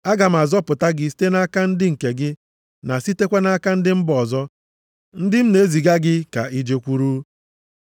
Aga m azọpụta gị site nʼaka ndị nke gị na sitekwa nʼaka ndị mba ọzọ, ndị m na-eziga gị ka i jekwuru.